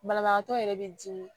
Banabagatɔ yɛrɛ bɛ dimi